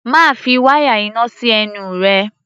Má fi wáyà iná sí ẹnu rẹ!